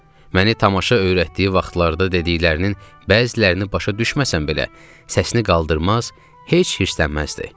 Məni tamaşa öyrətdiyi vaxtlarda dediklərinin bəzilərini başa düşməsəm belə, səsini qaldırmaz, heç hirslənməzdi.